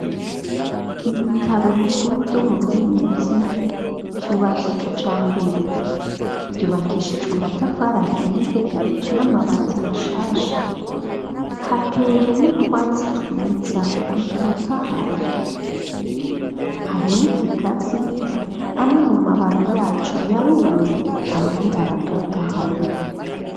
Ibitaro bikuru, vyo mu Rubirizi, vyubatse kijambere; vyubakishijwe amatafari ahiye, n'amabati bashasha; hateye n'utwatsi twiza, dutotahaye; hari n'ikigazi, amwe mu mababi yaco yarumye, ayandi aratotahaye.